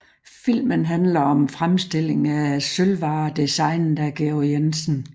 Filmen handler om fremstilling af sølvvarer designet af Georg Jensen